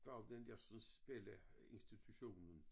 Var jo den dersens spilleinstitutionen